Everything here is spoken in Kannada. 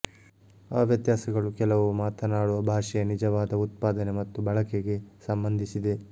ಆ ವ್ಯತ್ಯಾಸಗಳು ಕೆಲವು ಮಾತನಾಡುವ ಭಾಷೆಯ ನಿಜವಾದ ಉತ್ಪಾದನೆ ಮತ್ತು ಬಳಕೆಗೆ ಸಂಬಂಧಿಸಿದೆ